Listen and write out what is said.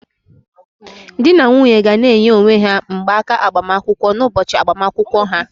Di na nwunye ga na-enye onwe ha mgbaaka agbamakwụkwọ n'ụbọchị agbamakwụkwọ ha